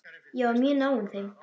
Ég var mjög náinn þeim.